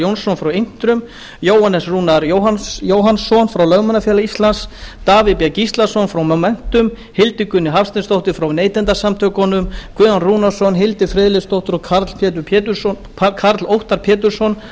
jónsson frá intrum jóhannes rúnar jóhannsson frá lögmannafélagi íslands davíð b gíslason frá momentum hildigunni hafsteinsdóttur frá neytendasamtökunum guðjón rúnarsson hildi friðleifsdóttur og karl óttar pétursson